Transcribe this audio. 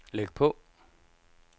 læg på